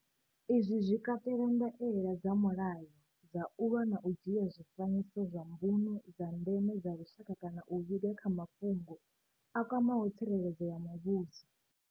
Izwi zwi katela ndaela dza mulayo dza u lwa na u dzhia zwifanyiso zwa mbuno dza ndeme dza lushaka kana u vhiga kha mafhungo a kwamaho tsireledzo ya muvhuso.